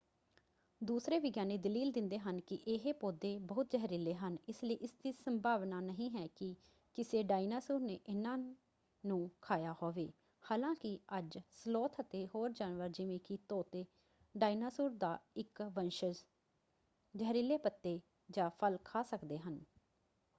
ਦੂਸਰੇ ਵਿਗਿਆਨੀ ਦਲੀਲ ਦਿੰਦੇ ਹਨ ਕਿ ਇਹ ਪੌਦੇ ਬਹੁਤ ਜ਼ਹਿਰੀਲੇ ਹਨ ਇਸਲਈ ਇਸਦੀ ਸੰਭਾਵਨਾ ਨਹੀਂ ਹੈ ਕਿ ਕਿਸੇ ਡਾਇਨਾਸੌਰ ਨੇ ਇਹਨਾਂ ਨੂੰ ਖਾਇਆ ਹੋਵੇ ਹਾਲਾਂਕਿ ਅੱਜ ਸਲੋਥ ਅਤੇ ਹੋਰ ਜਾਨਵਰ ਜਿਵੇਂ ਕਿ ਤੋਤੇ ਡਾਇਨਾਸੌਰ ਦਾ ਇੱਕ ਵੰਸ਼ਜ ਜ਼ਹਿਰੀਲੇ ਪੱਤੇ ਜਾਂ ਫਲ ਖਾ ਸਕਦੇ ਹਨ।